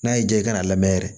N'a y'i diya i kana lamɛn yɛrɛ